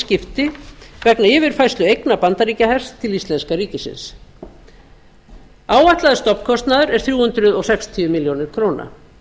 skipti vegna yfirfærslu eigna bandaríkjahers til íslenska ríkisins áætlaður stofnkostnaður er þrjú hundruð sextíu milljónir króna